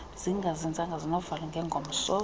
zingazinzanga sinovalo ngengomso